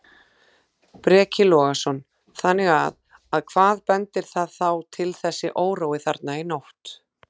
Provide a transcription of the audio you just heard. Breki Logason: Þannig að, að hvað bendir það þá til þessi órói þarna í nótt?